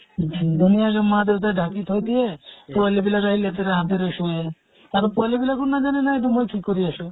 উম ধুনীয়াকে মা দেউতাই ঢাকি তৈ দিয়ে, পোৱালী বিলাক আহি লেতেৰা হাতেৰে চোয়ে। আৰু পোৱালী বিলাকো নাজানে নাই তো মই কি কৰি আছো।